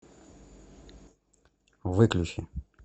выключи